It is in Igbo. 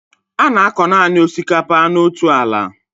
A na-akọ nanị osikapa n'otu ala